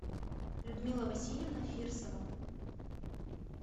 людмила васильевна фирсова